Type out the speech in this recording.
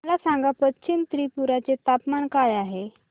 मला सांगा पश्चिम त्रिपुरा चे तापमान काय आहे